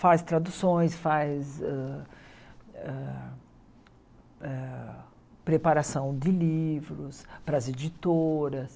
Faz traduções, faz ah ah ah preparação de livros para as editoras.